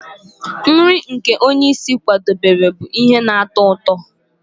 Nri nke onye isi nri kwadebere bụ ihe na-atọ ụtọ